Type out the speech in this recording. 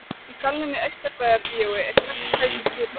Í salnum í Austurbæjarbíói er hvert sæti skipað.